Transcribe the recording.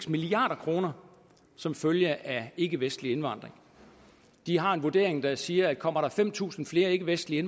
milliard kroner som følge af ikkevestlig indvandring de har en vurdering der siger at kommer der fem tusind flere ikkevestlige